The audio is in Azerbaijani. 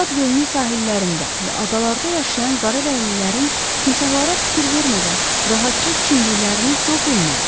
Çad gölünün sahillərində və adalarda yaşayan qaradərililərin timsahlara fikir vermədən rahatca çimdiklərini Co bilmirdi.